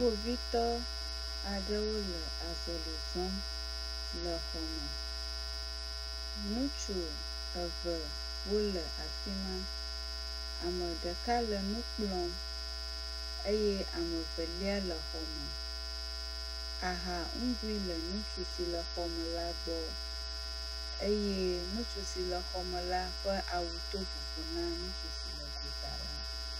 Kpovitɔ aɖewo le azɔli zɔm le xɔme, ŋutsu evewo le afi ma. Ame ɖeka le nu kplɔm eye evelia le exɔ me. Aha nugoe ŋutsu si le xɔme la gbɔ eye ŋutsu si le xɔme la ƒe awu to vovo na ŋutsu si le gota la.